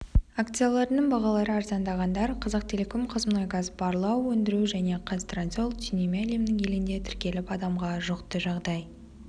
акцияларының бағалары арзандағандар қазақтелеком қазмұнайгаз барлау өндіру және қазтрансойл түйнеме әлемнің елінде тіркеліп адамға жұқты жағдай